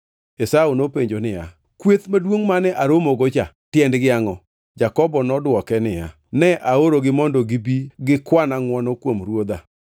Esau nopenjo niya, “Kweth maduongʼ mane aromogo cha tiendgi angʼo?” Jakobo nodwoke niya, “Ne aorogi mondo gibi gi kwana ngʼwono kuom ruodha.”